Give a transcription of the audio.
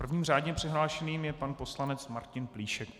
Prvním řádně přihlášeným je pan poslanec Martin Plíšek.